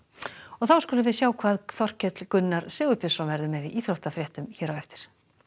þá skulum við sjá hvað Þorkell Gunnar Sigurbjörnsson verður með í íþróttafréttum hér á eftir